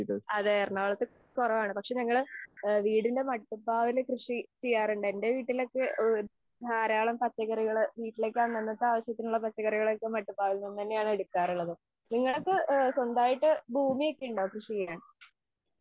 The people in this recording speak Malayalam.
അതെ എറണാകുളത്ത് കുറവാണ് പക്ഷെ ഞങ്ങളു എൻറെ വീടിന്റെ മട്ടുപ്ലാവിൽ കൃഷി ചെയ്യാറുണ്ട്. എന്റെ വീട്ടിലൊക്കെ ധാരാളം പച്ചക്കറികൾ വീട്ടിലെ അന്നന്നത്തെ ആവശ്യങ്ങൾക്കുള്ള പച്ചക്കറികൾ അതിൽ നിന്ന് തന്നെയാണ് എടുക്കാറുള്ളത്. നിങ്ങൾക്കു സ്വന്തമായി ഭൂമി ഒക്കെയുണ്ടോ കൃഷി ചെയ്യാൻ?